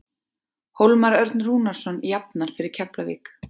Hólmar Örn Rúnarsson jafnar fyrir Keflavík.